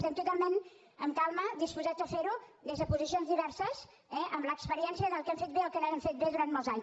estem totalment amb calma disposats a fer ho des de posicions diverses eh amb l’experiència del que hem fet bé i el no hem fet bé durant molts anys